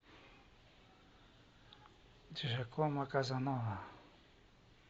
джакомо казанова